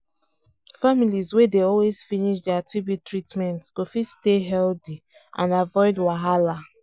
families wey dey always finish dia tb treatment go fit stay healthy and avoid wahala